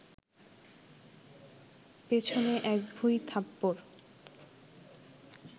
পিছনে এক ভুঁই থাপ্পড়